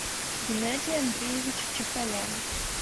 геннадий андреевич чахолян